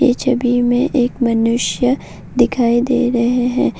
पीछे व्यू में एक मनुष्य दिखाई दे रहे हैं।